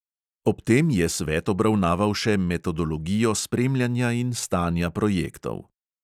Ob tem je svet obravnaval še metodologijo spremljanja in stanja projektov.